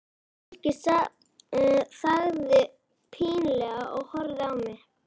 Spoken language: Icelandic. Fólkið þagði pínlega og horfði á mig.